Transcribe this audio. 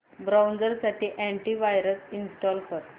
browser साठी anti virus install कर